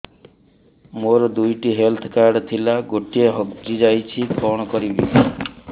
ମୋର ଦୁଇଟି health card ଥିଲା ଗୋଟିଏ ହଜି ଯାଇଛି କଣ କରିବି